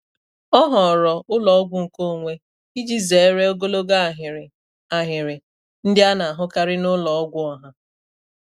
Ọ họọrọ ụlọ ọgwụ nkeonwe iji zere ogologo ahịrị ahịrị ndị a na-ahụkarị n'ụlọ ọgwụ ọha.